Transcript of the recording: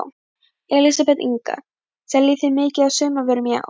Elísabet Inga: Seljið þið mikið af sumarvörum í ár?